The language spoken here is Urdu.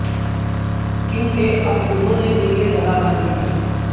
کیوں کہ اب انہوں نے دل میں جگہ بنا لی ہے